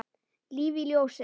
Líf í ljósi.